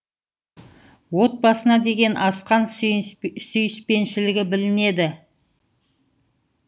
отбасына деген асқан сүйіспеншілігі білінеді